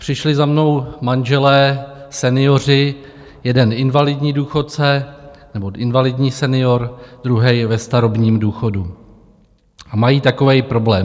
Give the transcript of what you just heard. Přišli za mnou manželé, senioři, jeden invalidní důchodce nebo invalidní senior, druhý ve starobním důchodu, a mají takový problém.